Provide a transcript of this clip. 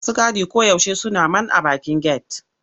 Masu gadi koyaushe suna man a bakin get.